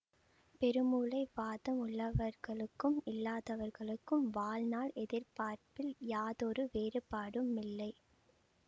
பெருமூளை வாதம் உள்ளவர்களுக்கும் இல்லாதவர்களுக்கும் வாழ்நாள் எதிர்பார்ப்பில் யாதொரு வேறுபாடுமில்லை